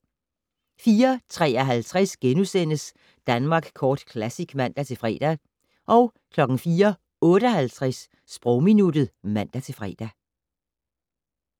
04:53: Danmark Kort Classic *(man-fre) 04:58: Sprogminuttet (man-fre)